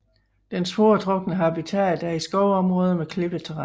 Dens foretrukne habitat er i skovområder med klippetærren